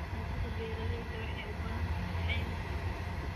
Hantida beeralayda waxay u baahan tahay caymis.